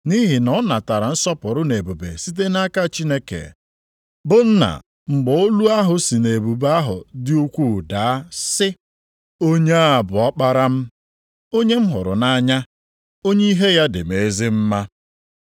Nʼihi na ọ natara nsọpụrụ na ebube site nʼaka Chineke bụ Nna mgbe olu ahụ si nʼebube ahụ dị ukwuu daa sị, “Onye a bụ Ọkpara m, onye m hụrụ nʼanya, onye ihe ya dị m ezi mma.” + 1:17 \+xt Mat 17:5; Mak 9:7; Luk 9:35\+xt*